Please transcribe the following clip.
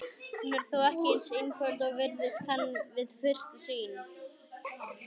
Hún er þó ekki eins einföld og virðast kann við fyrstu sýn.